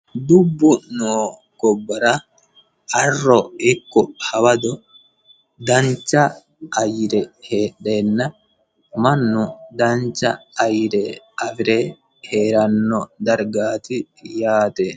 Dubbu noo gobbara arro ikko hawado dancha ayyire heehdena mannu dancha ayirre afire heeranno dargaati yaate